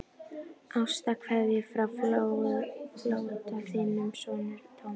Ástarkveðjur frá flóttanum, þinn sonur Thomas.